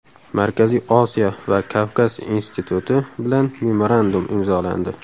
Markaziy Osiyo va Kavkaz instituti bilan memorandum imzolandi.